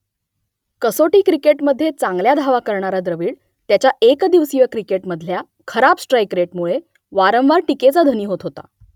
कसोटी क्रिकेटमध्ये चांगल्या धावा करणारा द्रविड त्याच्या एकदिवसीय क्रिकेटमधल्या खराब स्ट्राईक रेटमुळे वारंवार टीकेचा धनी होत होता